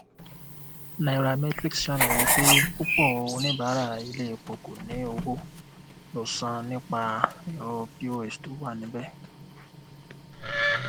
nairametrics ṣàlàyé pé púpọ oníbàárà ilé epo kò ní owó lo san nípa ẹrọ pos tó wà níbẹ